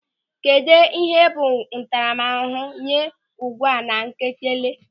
Kedụ ihe bụ ntaramahụhụ nye ụ̀gwa na Nwangele?